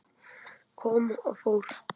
Kom og fór.